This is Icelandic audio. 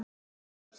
Fjögur börn.